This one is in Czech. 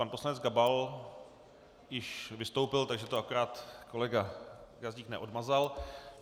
Pan poslanec Gabal již vystoupil, takže to akorát kolega Gazdík neodmazal.